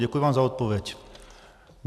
Děkuji vám za odpověď.